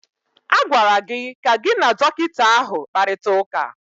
A gwara gị ka gị na dọkịta ahụ kparịta ụka!